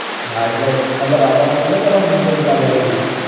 હા એટલે મતલબ આવવાનું તો છે ને તમારે monday પેલા marriage માં